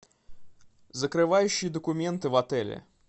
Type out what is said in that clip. закрывающие документы в отеле